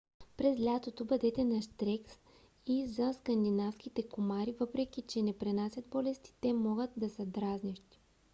през лятото бъдете нащрек и за скандинавските комари. въпреки че не пренасят болести те могат да са дразнещи